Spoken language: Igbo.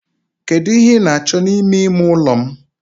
Kedu ihe ị na-achọ n'ime ime ụlọ m?